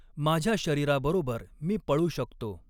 माझ्या शरीराबरॊबर मी पळू शकतॊ.